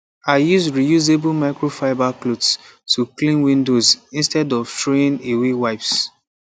i use reusable microfiber cloths to clean windows instead of throwing away wipes